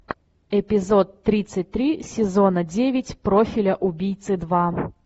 эпизод тридцать три сезона девять профиля убийцы два